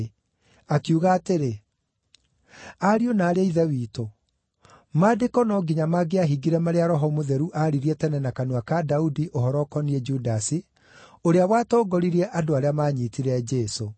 akiuga atĩrĩ, “Ariũ na aarĩ a Ithe witũ, Maandĩko no nginya mangĩahingire marĩa Roho Mũtheru aaririe tene na kanua ka Daudi ũhoro ũkoniĩ Judasi, ũrĩa watongoririe andũ arĩa maanyiitire Jesũ.